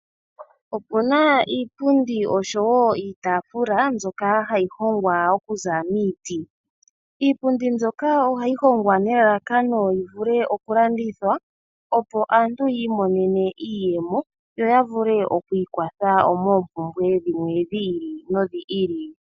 Opuna iipundi oshowo iitafula mbyoka hayi hongwa okuza miiti. Iipundi mbyoka ohayi hongwa nelalakano yivule okulandithwa, opo aantu yiimonene iiyemo, yo yavule okwiikwatha moompumbwe dhimwe dhi ili nodhi ili.